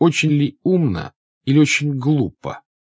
очень умна и очень глупо